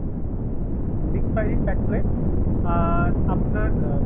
mixed fried rice এক plate, আর আপনার আহ